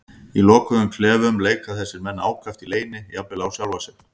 Í lokuðum klefum leika þessir menn ákaft í leyni, jafnvel á sjálfa sig.